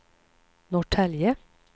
Norrtälje